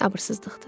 Abırsızlıqdır.